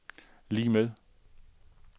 lig med